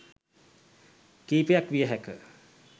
කීපයක් විය හැක